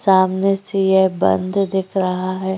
सामने से यह बंद दिख रहा है।